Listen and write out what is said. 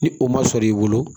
Ni o ma sɔrɔ i bolo